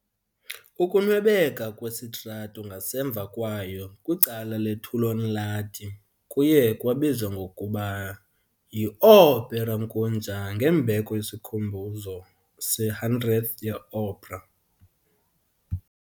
Ukunwebeka kwesitrato ngasemva kwayo kwicala le-Töölönlahti kuye kwabizwa ngokuba yi-Ooperankuja ngembeko yesikhumbuzo se-100th ye-opera.